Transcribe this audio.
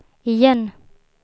igen